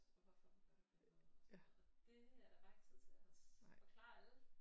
Hvorfor vi gør den måde og det er der bare ikke tid til at forklare alle